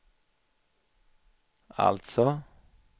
alltså